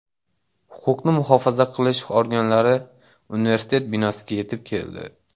Huquqni muhofaza qilish organlari universitet binosiga yetib keldi.